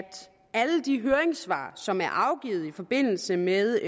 alle de høringssvar som er afgivet i forbindelse med